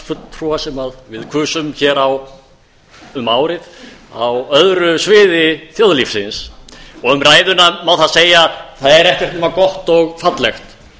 fulltrúa sem við kusum hér um árið á öðru sviði þjóðlífsins og um ræðuna má það segja að það er ekkert nema gott og fallegt